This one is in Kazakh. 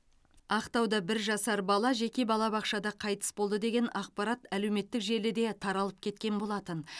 ақтауда бір жасар бала жеке балабақшада қайтыс болды деген ақпарат әлеуметтік желіде таралып кеткен болатын